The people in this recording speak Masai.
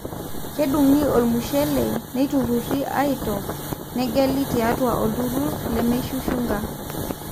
kedungi olmushele, neitururi aitop, negeli tiatua olturrur lemeishushunga